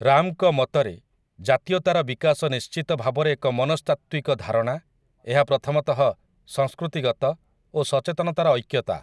ରାମ୍‌ଙ୍କ ମତରେ ଜାତୀୟତାର ବିକାଶ ନିଶ୍ଚିତ ଭାବରେ ଏକ ମନସ୍ତାତ୍ତ୍ୱିକ ଧାରଣା ଏହା ପ୍ରଥମତଃ ସଂସ୍କୃତିଗତ ଓ ସଚେତନତାର ଐକ୍ୟତା ।